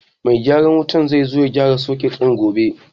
Mai gyaran wutar zai zo ya gyara soket ɗin gobe.